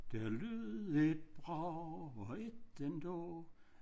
Der lød et brag og et endnu